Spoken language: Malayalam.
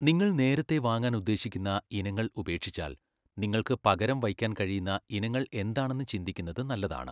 നിങ്ങൾ നേരത്തെ വാങ്ങാൻ ഉദ്ദേശിക്കുന്ന ഇനങ്ങൾ ഉപേക്ഷിച്ചാൽ നിങ്ങൾക്ക് പകരം വയ്ക്കാൻ കഴിയുന്ന ഇനങ്ങൾ എന്താണെന്ന് ചിന്തിക്കുന്നത് നല്ലതാണ്.